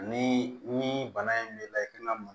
Ni ni bana in bɛ lahala min na